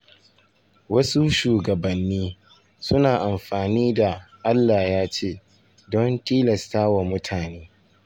Wasu shugabanni suna amfani da “Allah ya ce” don tilasta wa mutane.